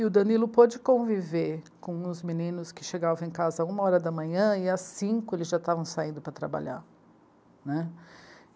E o Danilo pôde conviver com os meninos que chegavam em casa uma hora da manhã e às cinco eles já estavam saindo para trabalhar, né.